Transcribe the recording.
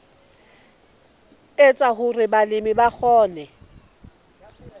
etsa hore balemi ba kgone